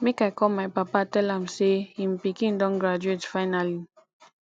make i call my papa tell am say him pikin don graduate finally